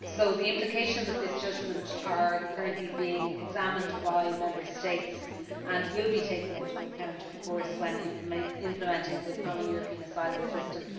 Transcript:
The implications of this judgment are currently being examined by Member States and will be taken into account, of course, when implementing the Common European Asylum System.